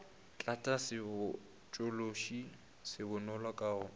tlatša sebotšološi se bonolo ka